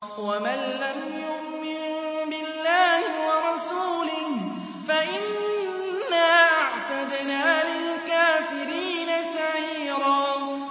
وَمَن لَّمْ يُؤْمِن بِاللَّهِ وَرَسُولِهِ فَإِنَّا أَعْتَدْنَا لِلْكَافِرِينَ سَعِيرًا